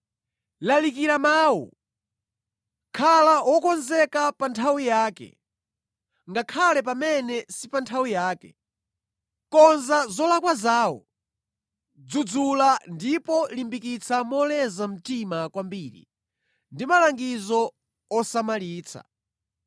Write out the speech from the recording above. Lalikira Mawu; khala wokonzeka pa nthawi yake, ngakhale pamene si pa nthawi yake. Konza zolakwa zawo, dzudzula ndipo limbikitsa moleza mtima kwambiri ndi malangizo osamalitsa.